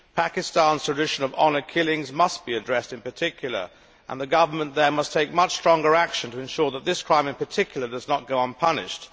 Pakistan's tradition of honour killings must be addressed in particular, and the government there must take much stronger action to ensure that this crime in particular does not go unpunished.